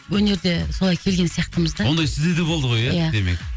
өнерде солай келген сияқтымыз да ондай сізде де болды ғой ия демек